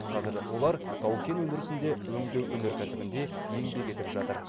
қазір олар тау кен өндірісінде өңдеу өнеркәсібінде еңбек етіп жатыр